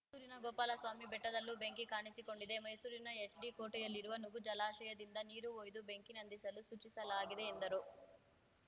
ಮೈಸೂರಿನ ಗೋಪಾಲಸ್ವಾಮಿ ಬೆಟ್ಟದಲ್ಲೂ ಬೆಂಕಿ ಕಾಣಿಸಿಕೊಂಡಿದೆ ಮೈಸೂರಿನ ಎಚ್‌ಡಿಕೋಟೆಯಲ್ಲಿರುವ ನುಗು ಜಲಾಶಯದಿಂದ ನೀರು ಒಯ್ದು ಬೆಂಕಿ ನಂದಿಸಲು ಸೂಚಿಸಲಾಗಿದೆ ಎಂದರು